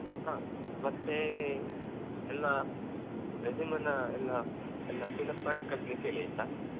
ಹಾ ಮತ್ತೇ ಎಲ್ಲಾ resume ನ ಎಲ್ಲ ಎಲ್ಲ fill up ಮಾಡಿ ಕಳಿಸ್ಲಿಕ್ಕೆ ಹೇಳಿ ಆಯ್ತಾ.